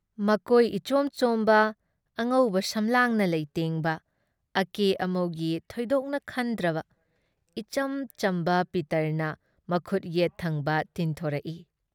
ꯃꯀꯣꯏ ꯏꯆꯣꯝ ꯆꯣꯝꯕ ꯑꯉꯧꯕ ꯁꯝꯂꯥꯡꯅ ꯂꯩꯇꯦꯡꯕ ꯑꯀꯦ ꯑꯃꯧꯒꯤ ꯊꯣꯏꯗꯣꯛꯅ ꯈꯟꯗ꯭ꯔꯕ ꯏꯆꯝ ꯆꯝꯕ ꯄꯤꯇꯔꯅ ꯃꯈꯨꯠ ꯌꯦꯠ ꯊꯪꯕ ꯇꯤꯡꯊꯣꯛꯔꯛ ꯏ